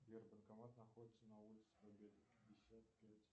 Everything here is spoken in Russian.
сбербанкомат находится на улице победы пятьдесят пять